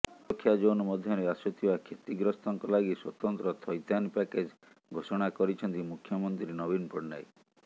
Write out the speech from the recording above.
ସୁରକ୍ଷା ଜୋନ ମଧ୍ୟରେ ଆସୁଥିବା କ୍ଷତିଗ୍ରସ୍ତଙ୍କ ଲାଗି ସ୍ୱତନ୍ତ୍ର ଥଇଥାନ ପ୍ୟାକେଜ ଘୋଷଣା କରିଛନ୍ତି ମୁଖ୍ୟମନ୍ତ୍ରୀ ନବୀନ ପଟ୍ଟନାୟକ